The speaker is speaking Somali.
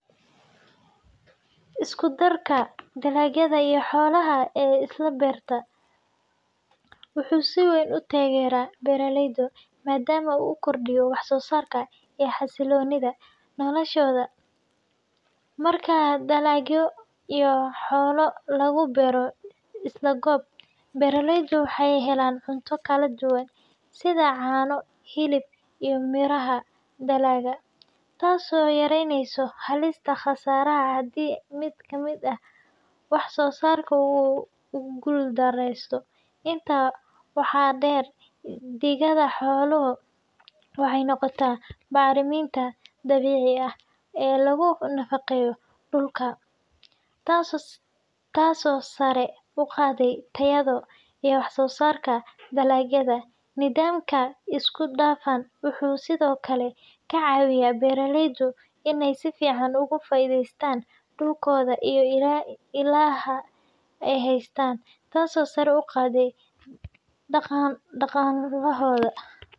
Isku darka dalagyada iyo xoolaha ee isla beerta wuxuu si weyn u taageeraa beeraleyda, maadaama uu kordhiyo wax-soosaarka iyo xasilloonida noloshooda. Marka dalagyo iyo xoolo lagu beero isla goob, beeraleydu waxay helaan cunto kala duwan, sida caano, hilib, iyo miraha dalagga, taasoo yareynaysa halista khasaare haddii mid ka mid ah wax-soosaarka uu guuldareysto. Intaa waxaa dheer, digada xooluhu waxay noqotaa bacriminta dabiiciga ah ee lagu nafaqeeyo dhulka, taasoo sare u qaadda tayada iyo wax-soosaarka dalagyada. Nidaamkan isku dhafan wuxuu sidoo kale ka caawiyaa beeraleyda in ay si fiican uga faa’iideystaan dhulkooda iyo ilaha ay haystaan, taasoo sare u qaadda dhaqaalahooda.